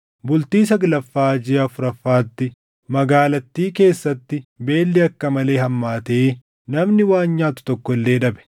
Bultii saglaffaa jiʼa afuraffaatti, magaalattii keessatti beelli akka malee hammaatee namni waan nyaatu tokko illee dhabe.